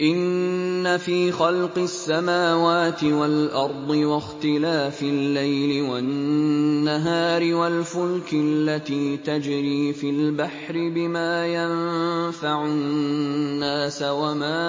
إِنَّ فِي خَلْقِ السَّمَاوَاتِ وَالْأَرْضِ وَاخْتِلَافِ اللَّيْلِ وَالنَّهَارِ وَالْفُلْكِ الَّتِي تَجْرِي فِي الْبَحْرِ بِمَا يَنفَعُ النَّاسَ وَمَا